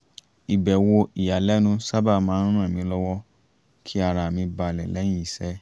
ìbẹ̀wò ìyàlẹ́nu sábà maá ń ràn mí lọ́wọ́ kí ara mi balẹ̀ lẹ́yìn iṣẹ́